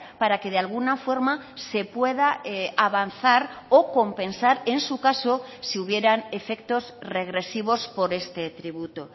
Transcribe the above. para que de alguna forma se pueda avanzar o compensar en su caso si hubieran efectos regresivos por este tributo